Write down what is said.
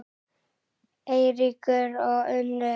Eiríkur og Unnur.